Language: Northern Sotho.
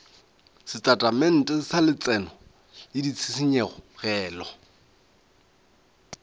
setatamente sa letseno le ditshenyegelo